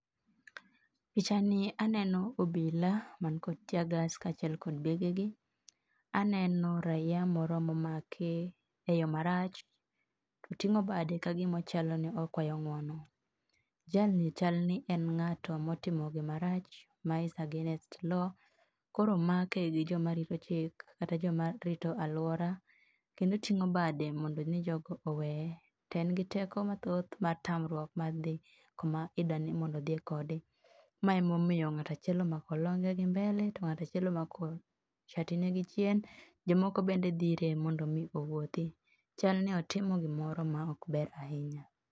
Pichani aneno obila man kod teargas kaachiel kod begegi, aneno raia moro momaki eyo marach. To oting'o bade matiende ni okwayo ng'uono. Jalni chal ni en ng'ato motimo gima rach, ma is against law koro omake gijoma rito chik kata joma rito aluora kendo oting'o bade nimondo jogi oweye. To en giteko mathoth mar tamruok mar dhi kuma idwa nimondo odhiye kode, ma emomiyo ng'ato achiel omako longe gi mbele to ng'ato achiel omako satine gi chien. Jomoko bende dhire mondo mi owuothi. Chalni otimo gimoro maok ber ahinya.